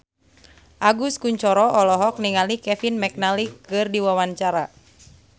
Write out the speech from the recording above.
Agus Kuncoro olohok ningali Kevin McNally keur diwawancara